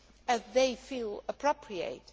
as they feel appropriate.